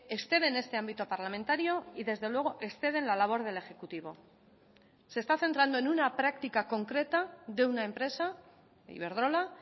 exceden este ámbito parlamentario y desde luego exceden la labor del ejecutivo se está centrando en una práctica concreta de una empresa iberdrola